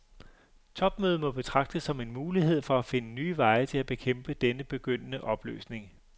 Topmødet må betragtes som en mulighed for at finde nye veje til at bekæmpe denne begyndende opløsning.